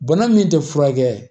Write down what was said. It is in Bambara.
Bana min tɛ furakɛ